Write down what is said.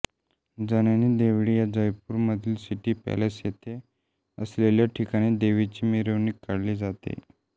जननी देवडी या जयपूर मधील City Palace येथे असलेल्या ठिकाणी देवीची मिरवणूक काढली जाते